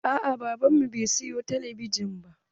Aa baban mu bai siyo talabijin ba.